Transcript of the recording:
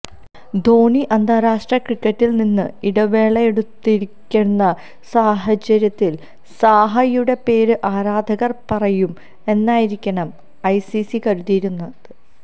ധോണി അന്താരാഷ്ട്ര ക്രിക്കറ്റില് നിന്ന് ഇടവേളയെടുത്തിരിക്കുന്ന സാഹചര്യത്തില് സാഹയുടെ പേര് ആരാധകര് പറയും എന്നായിരിക്കണം ഐസിസി കരുതിയിരുന്നത്